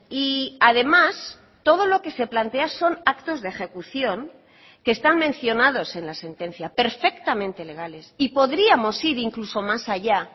y además todo lo que se plantea son actos de ejecución que están mencionados en la sentencia perfectamente legales y podríamos ir incluso más allá